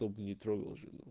кто бы не трогал жену